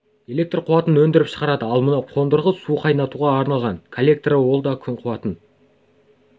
электр қуатын өндіріп шығарады ал мынау қондырғы су қайнатуға арналған коллектор ол да күн қуатын